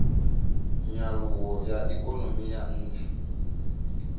nyaluwo ya ikonomi ya ntha